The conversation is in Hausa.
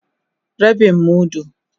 Rabin mudu.